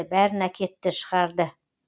бәрін әкетті шығарды